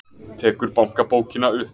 Tekur bankabókina upp.